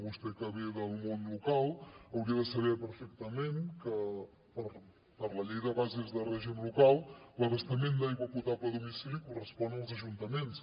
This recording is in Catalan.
vostè que ve del món local hauria de saber perfectament que per la llei de bases de règim local l’abastament d’aigua potable a domicili correspon als ajuntaments